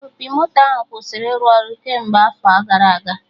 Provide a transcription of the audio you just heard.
Opi moto ahụ kwụsịrị ịrụ ọrụ kemgbe afọ gara aga